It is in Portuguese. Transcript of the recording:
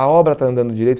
A obra está andando direito.